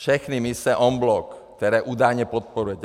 Všechny mise en bloc, které údajně podporujete.